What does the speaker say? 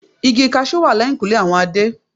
Igi cashew wà lẹ́yìnkùlé àwọn Adé.